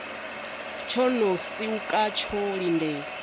tsho no siwka tsho lindela